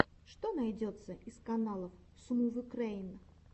что найдется из каналов смувюкрэйн